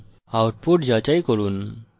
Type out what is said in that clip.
output যাচাই করুন